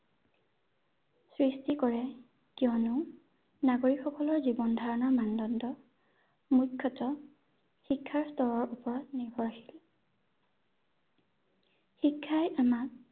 সৃষ্টি কৰে। কিয়নো, নাগৰিক সকলৰ জীৱনধাৰণৰ মানদণ্ড মুখ্যতঃ শিক্ষাৰ স্তৰৰ ওপৰত নিৰ্ভৰশীল শিক্ষাই আমাক